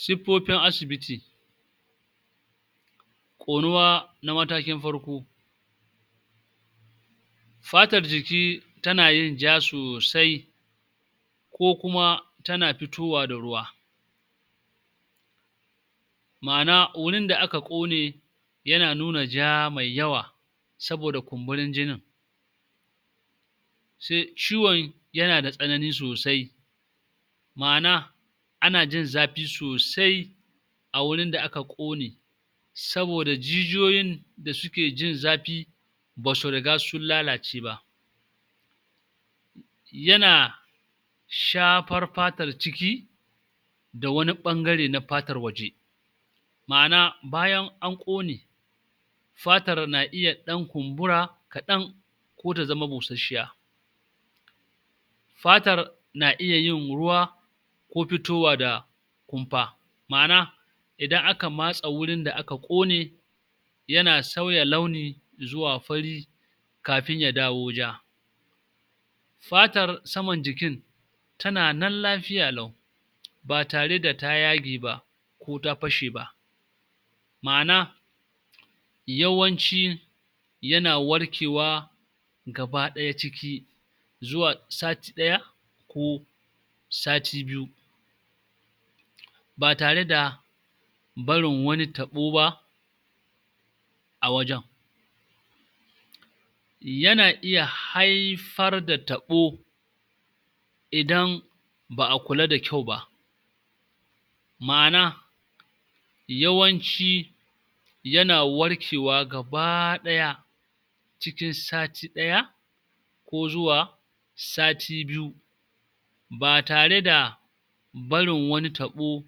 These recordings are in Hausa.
Siffofin asibiti Ƙonuwa na matakin farko fatar jiki ta na yin ja sosai ko kuma ta na fitowa da ruwa ma'ana wurin da aka ƙone ya na nuna ja mai yawa saboda kumburin jinin. Se ciwon ya na da tsananin sosai ma'ana ana jin zafi sosai a wurin da aka ƙone saboda jijiyoyin da suke jin zafi basu riga sun lalace ba. Ya na shafar fatar ciki da wani ɓangare na fatar waje ma'ana bayan an ƙone fatar na iya ɗan kumbura kaɗan, ko ta zama busasshiya. Fatar na iya yin ruwa ko fitowa da kumfa ma'ana idan aka matse wurin da aka ƙone ya na sauya launi zuwa fari kafin ya dawo ja. Fatar saman jikin ta na nan lafiya lau ba tare da ta yage ba ko ta fashe ba, ma'ana yawanci ya na warkewa gaba-ɗaya ciki zuwa sati ɗaya ko sati biyu ba tare da barin wani taɓo ba a wajan. Ya na iya haifar da taɓo idan ba'a kula da kyau ba, ma'ana yawanci ya na warkewa gaba-ɗaya cikin sati ɗaya ko zuwa sati biyu ba tare da barin wani taɓo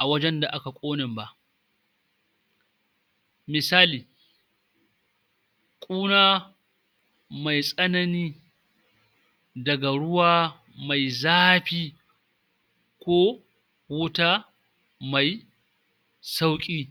a wajan da aka ƙonen ba. Misali ƙuna mai tsanani daga ruwa mai zafi ko wuta mai sauƙi